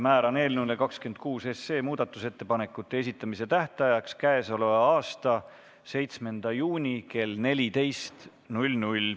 Määran eelnõu 26 muudatusettepanekute esitamise tähtajaks k.a 7. juuni kell 14.